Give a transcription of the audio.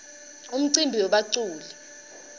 umcimbi webaculi